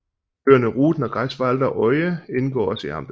Øerne Ruden og Greifswalder Oie indgår også i amtet